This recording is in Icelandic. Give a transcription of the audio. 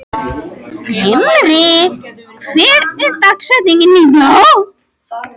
Himri, hver er dagsetningin í dag?